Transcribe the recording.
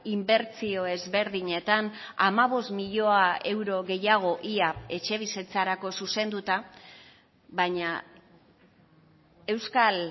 inbertsio ezberdinetan hamabost milioi euro gehiago ia etxebizitzarako zuzenduta baina euskal